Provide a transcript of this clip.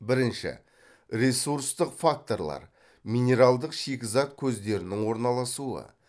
бірінші ресурстық факторлар минералдық шикізат көздерінің орналасуы